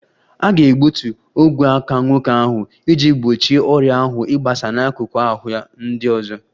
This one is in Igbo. A ga-egbutu ogwe aka nwoke ahụ iji gbochie ọrịa ahụ ịgbasa n'akụkụ ahụ ya ndị ọzọ